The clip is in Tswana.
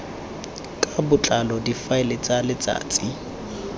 ka botlalo difaele tsa letsatsi